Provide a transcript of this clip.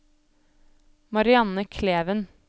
Marianne Kleven